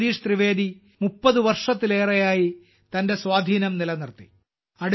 ജഗദീഷ് ത്രിവേദി 30 വർഷത്തിലേറെയായി തന്റെ സ്വാധീനം നിലനിർത്തി